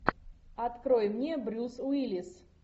открой мне брюс уиллис